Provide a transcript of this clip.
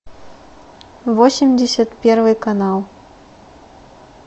восемьдесят первый канал